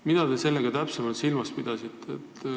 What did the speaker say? Mida te sellega täpsemalt silmas pidasite?